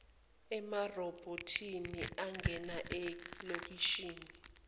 emarobhothini angena elokishini